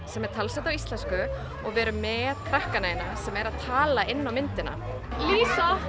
sem er talsett á íslensku og við erum með krakkana hérna sem eru að tala inná myndina Lísa